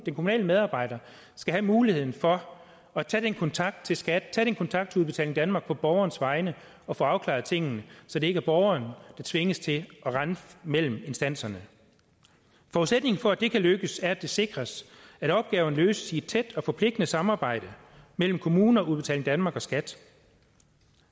kommunale medarbejder skal have muligheden for at tage kontakt til skat tage kontakt til udbetaling danmark på borgerens vegne og få afklaret tingene så det ikke er borgeren der tvinges til at rende mellem instanserne forudsætningen for at det kan lykkes er at det sikres at opgaven løses i tæt og forpligtende samarbejde mellem kommuner udbetaling danmark og skat